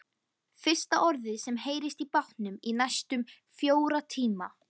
Fyrsta orðið sem heyrist í bátnum í næstum fjóra tíma.